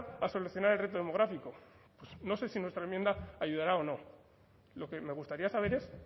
a solucionar el reto demográfico no sé si nuestra enmienda ayudará o no lo que me gustaría saber es